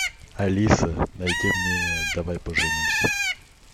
алиса найди мне давай поженимся